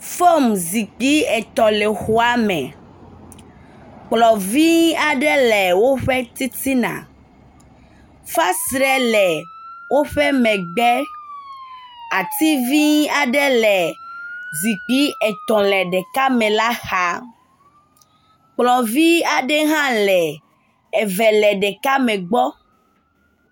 Fom zikpui etɔ̃ le xɔa me kplɔ vi aɖe le woƒe titina. Fesre le woƒe megbe. Ati vi aɖe le zikpui etɔ̃ le ɖeka me la xa. Kplɔ vi aɖe hã le eve le ɖeka me gbɔ.